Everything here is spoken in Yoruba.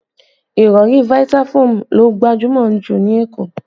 Ìrọ̀rí Vitafoam ló gbajúmọ̀ ju ní Èkó